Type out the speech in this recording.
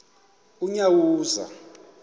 unyawuza